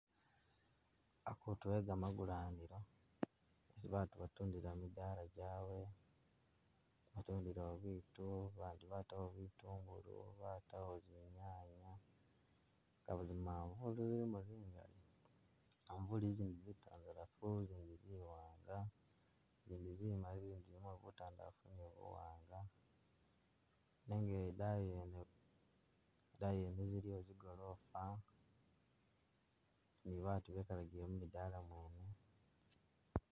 Akutu e gamagulanilo isi batu batundila midaala gyabwe, batundilawo bitu bandi batawo bitungulu, batawo zinyanya, kaba zimanvuli zilimo zingali umuli zindi zitandalafu, zindi ziwanga, zindi zimali, zindi zilimo batandalafu ni buwaanga, nenga idayi yene idayi yene ziliyo zigoloofa ni batu bekalagile mu midaala mwene.